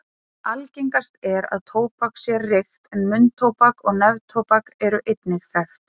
Algengast er að tóbak sé reykt en munntóbak og neftóbak eru einnig þekkt.